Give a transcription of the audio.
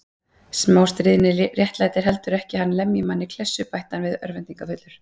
Smástríðni réttlætir heldur ekki að hann lemji mann í klessu bætti hann við örvæntingarfullur.